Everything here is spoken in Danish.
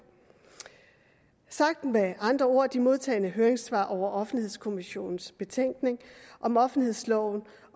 sagt med andre ord de modtagne høringssvar over offentlighedskommissionens betænkning om offentlighedsloven